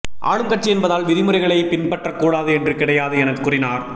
ஆளும் கட்சி என்பதால் விதிமுறைகளை பின்பற்ற கூடாது என்று கிடையாது என கூறினார்